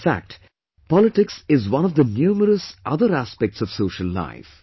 In fact, Politics is one of the numerous other aspects of social life